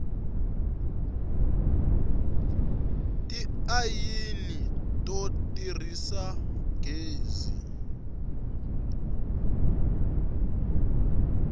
tiayini to tirhisa gezi